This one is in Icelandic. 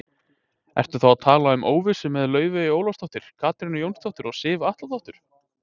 Ertu þá að tala um óvissu með Laufeyju Ólafsdóttur, Katrínu Jónsdóttur og Sif Atladóttur?